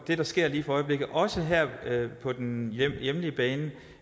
det der sker lige for øjeblikket også her på den hjemlige hjemlige bane